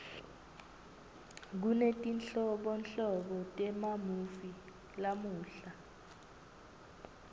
kunetinhlobonhlobo temamuvi lamuhla